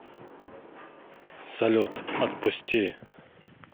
салют отпусти